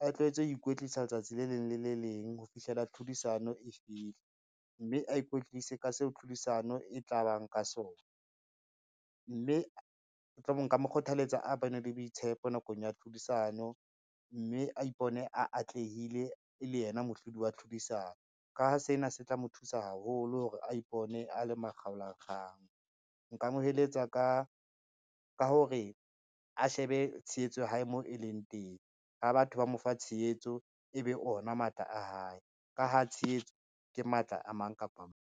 a tlwaetse ho ikwetlisa letsatsi le leng le le leng ho fihlela tlhodisano e fihla, mme a ikwetlise ka seo tlhodisano e tla bang ka sona, mme mhlomong nka mo kgothaletsa a bane le boitshepo nakong ya tlhodisano, mme a ipone atlehile e le yena mohlodi wa tlhodisano. Ka ha sena se tla mo thusa haholo hore a ipone a le makgaola la kgang, nka mo eletsa ka hore a shebe tshehetso ya hae moo e leng teng, ha batho ba mo fa tshehetso e be ona matla a hae, ka ha tshehetso ke matla a mang kapa mang.